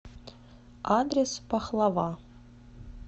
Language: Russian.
адрес пахлава